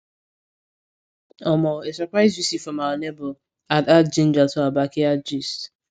omo a surprise visit from our neighbor add add ginga to our backyard gist